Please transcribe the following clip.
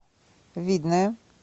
видное